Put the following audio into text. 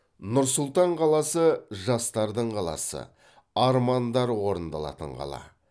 нұр сұлтан қаласы жастардың қаласы армандар орындалатын қала